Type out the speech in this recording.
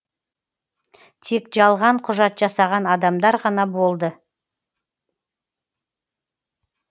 тек жалған құжат жасаған адамдар ғана болды